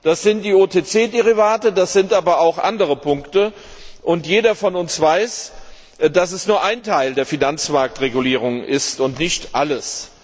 Das sind die OTC Derivate, das sind aber auch andere Punkte, und jeder von uns weiß, dass das nur ein Teil der Finanzmarktregulierung ist und nicht alles.